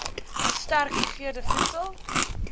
sterk gegeurde voedsel